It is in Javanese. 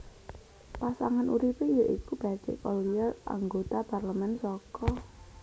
Pasangan uripe ya iku Patrick Ollier anggota parlemen saka